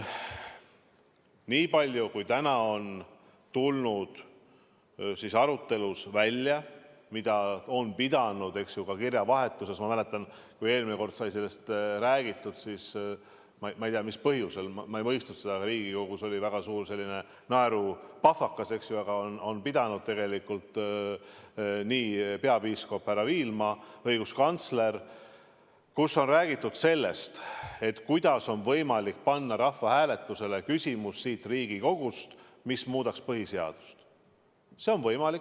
Niipalju kui täna on tulnud arutelust välja, ka kirjavahetusest , mida on pidanud peapiiskop Viilma ja õiguskantsler, kus on räägitud sellest, kuidas on võimalik panna rahvahääletusele küsimus siit Riigikogust, mis muudaks põhiseadust, siis see on võimalik.